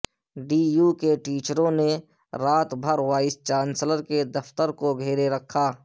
D U کے ٹیچروں نے رات بھر وائس چانسلر کے دفتر کو گھیرے رکھا